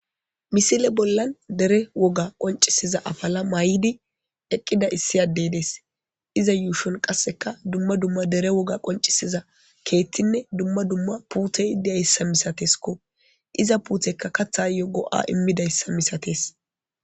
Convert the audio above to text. misile bollan dere woga qoncisiza afala may7idi eqqida issi addey dees iza yuushon qasseka dumma dumma dere woga qoncisiza keettinne dumma dumma puutey deayssa misateskko iza puutekka kathayo go7a immidayssa misates